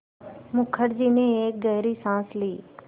मुखर्जी ने एक गहरी साँस ली